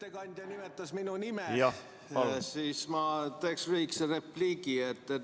Ettekandja nimetas minu nime, ma teen lühikese repliigi.